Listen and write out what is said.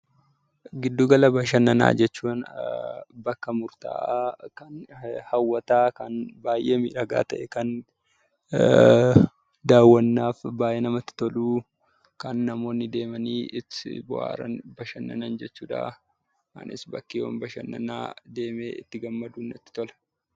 Giddugala bashannanaa jechuun bakka murtaa'aa kan hawwataa, kan baay'ee miidhagaa ta'e, kan daawwannaaf baay'ee namatti toluu, kan namoonni deemanii itti bohaaran, bashannanan jechuudha. Anis bakkeewwan bashannanaa deemee itti gammaduun natti tola.